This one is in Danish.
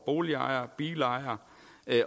boligejere og bilejere